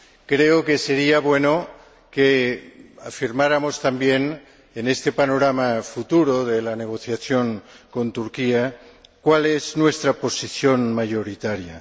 Creo que sería bueno que afirmáramos también, en este panorama futuro de la negociación con Turquía, cuál es nuestra posición mayoritaria.